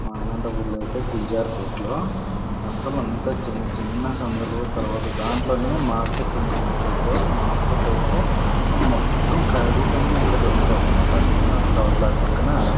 మా అనంతపూర్ లో ఐతే గురుజార్ పెట్ లో అసలు అంత చిన్న చిన్న సంధులు తర్వాత దాంట్లోనే మార్కెట్ ఉంది కోట రోడ్ లో మార్కెట్ ఐతే అసలు మొత్తం కాయగూరలన్నీ అక్కడే దొరుకుతాయన్నమాట పక్కన --